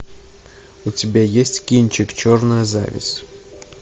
у тебя есть кинчик черная зависть